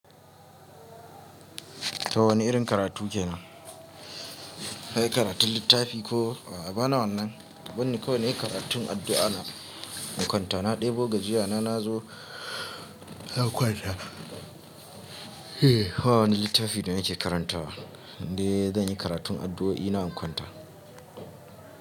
Ko wane irin karatu ke nan? Na yi karatun littafi ko a bana wannan? Ka banni kawai nayi karatun addu'a na na kwanta. Na ɗebo gajiyana na zo zan kwana. Eh, hawani littafi da nake karantawa. Inde zan yi karatun addu'o'i na ingwanta.